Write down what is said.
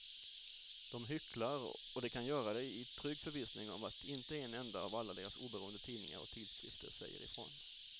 De hycklar och de kan göra det i trygg förvissning om att inte en enda av alla deras oberoende tidningar och tidskrifter säger ifrån.